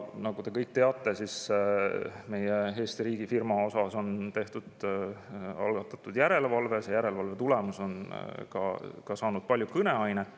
Nagu te kõik teate, Eesti riigifirma osas on algatatud järelevalve ja järelevalve tulemus on palju kõneainet.